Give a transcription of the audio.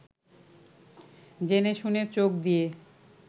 জেনে-শুনে চোখ দিয়ে